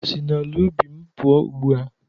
Si n'ala ubi m pụọ ugbu a